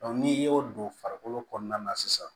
n'i y'o don farikolo kɔnɔna na sisan